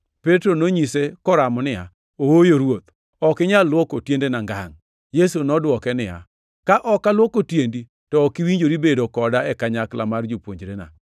Petro nonyise koramo niya, “Ooyo, Ruoth, ok inyal luoko tiendena ngangʼ.” Yesu nodwoke niya, “Ka ok aluoko tiendi, to ok iwinjori bedo koda e kanyakla mar jopuonjrena.”